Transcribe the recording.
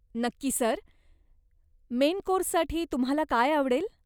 नक्की sir. Main कोर्ससाठी तुम्हाला काय आवडेल?